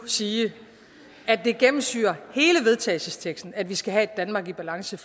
sige at det gennemsyrer hele vedtagelsesteksten at vi skal have et danmark i balance